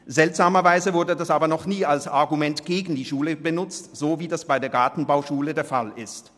Seltsamerweise wurde das aber noch nie als Argument gegen die Schule benutzt, so wie das bei der Gartenbauschule der Fall ist.